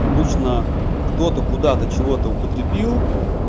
обычно кто-то куда-то чего-то употребил